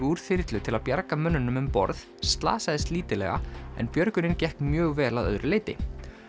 úr þyrlu til að bjarga mönnunum um borð slasaðist lítillega en björgunin gekk mjög vel að öðru leyti